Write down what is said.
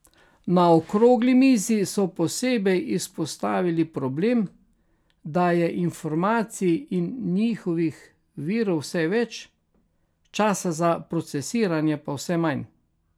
Na okrogli mizi so posebej izpostavili problem, da je informacij in njihovih virov vse več, časa za procesiranje pa vse manj.